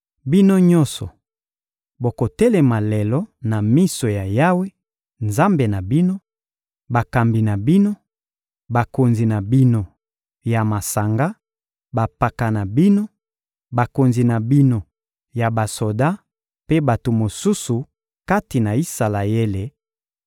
Bino nyonso, bokotelema lelo na miso ya Yawe, Nzambe na bino: bakambi na bino, bakonzi na bino ya masanga, bampaka na bino, bakonzi na bino ya basoda mpe bato mosusu kati na Isalaele